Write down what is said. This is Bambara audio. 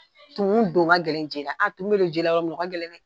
Tumu don ga gɛlɛ je la, tumu mɛ don jela yɔrɔ min o gɛlɛn dɛ